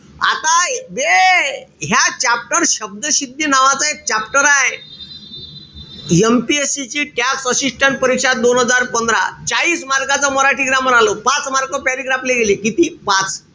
आता बे ह्या chapter शब्दसिद्धी नावाचा एक chapter आय. MPSC ची tax assistant परीक्षा दोन हजार पंधरा. चाळीस mark च मराठी grammar आलं होत. पाच mark paragraph ले गेले. किती? पाच.